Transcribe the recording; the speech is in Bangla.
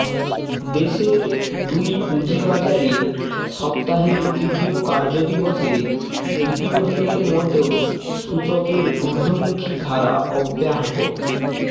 দেশের দুই পুঁজিবাজারে সপ্তাহের তৃতীয় কার্যদিবসে দ্বিতীয় দিনের মতো সূচকের ঊর্ধ্বমুখি ধারা অব্যাহত